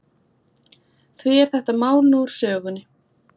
Því er þetta mál nú úr sögunni.